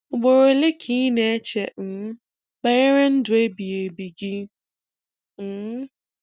Ugboro ole ka ị na-eche um banyere ndụ ebighị ebi gị? um